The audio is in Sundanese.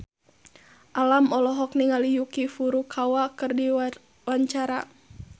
Alam olohok ningali Yuki Furukawa keur diwawancara